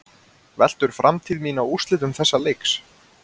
Veltur framtíð mín á úrslitum þessa leiks?